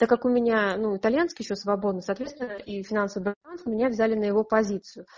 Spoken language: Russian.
так как у меня ну итальянский ещё свободный соответственно и финансовый баланс меня взяли на его позицию